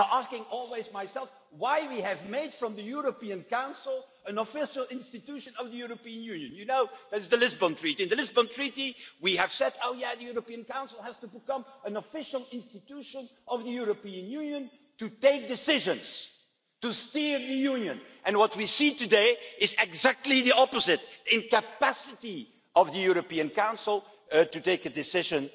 I am always asking myself why we made the European Council an official institution of the European Union under the Lisbon Treaty. In the Lisbon Treaty we said, yes, the European Council has to become an official institution of the European Union, to take decisions, to steer the Union, and what we see today is exactly the opposite, the incapacity of the European Council to take a decision